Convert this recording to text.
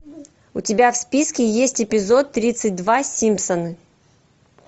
у тебя в списке есть эпизод тридцать два симпсоны